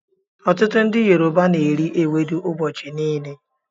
Ọtụtụ ndị Yoruba n'eri ewedu ụbọchị niile